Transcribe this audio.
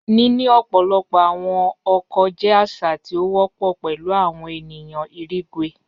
Nini ọpọlọpọ awọn ọkọ jẹ aṣa ti o wọpọ pẹlu awọn eniyan irigwe.